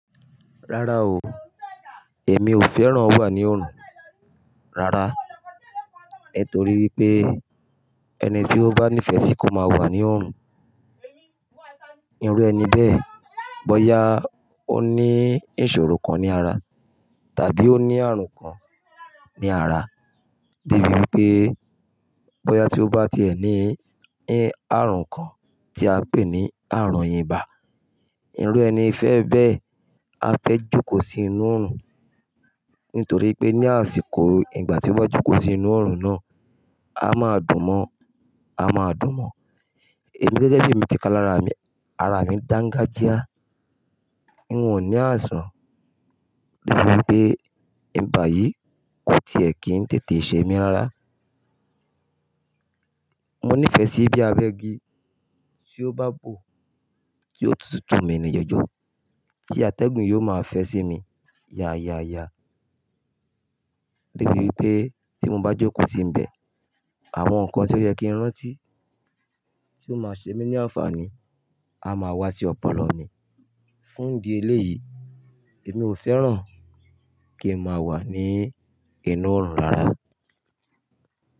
Rárá o, èmi ò fẹ́ràn wà ní òorùn rara. Nitó ri pé ẹni tí ó bá nífẹ̀ẹ́ sí kó má wà ní òrùn, irú ẹni bẹ́ẹ̀, bóyá ó ní ìṣòro kan ní ara tàbí ó ní àrùn kan ní ara. De bí wipé bóyá tí ó bá ti ẹ̀ ní àrùn kan tí a ń pè ní àrùn ìbà, irú ẹni fẹ́ẹ́ bẹ́ẹ̀, á fẹ́ jókòó sí inú òorùn. Nítorí pé ní àsìkò ìgbà tí wọ́n jókòó sí inú òrùn náà, a máa dùn mọ́, a máa dùn mọ́. Èmi gẹ́gẹ́ bí emi ti ká lára mi, ara mi dáńgájíá, n ò ní àisàn. O dabí enipé ibà yìí kò tiẹ̀ kí ń tètè ṣe mí rára. Mo nífẹ̀ẹ́ sí bí abẹ́ igi tí ó bá bò tí ó tutù mi ní jọ̀jọ̀ tí atẹ́gùn yóò máa fẹ́ sí mi. Ya ya ya. Debí wí pé tí mo bá jókòó sí ibẹ̀, àwọn nǹkan tí ó yẹ kí n rántí tí ó máa ṣe mí ní àǹfààní á máa wá sí ọ̀pọ̀lọpọ̀ mi. Fún ìdí eléyìí, èmi ò fẹ́ràn kí n má wà ní inú òrùn rara.